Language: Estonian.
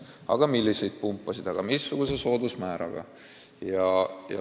Aga millised pumbad, aga missuguse soodusmääraga?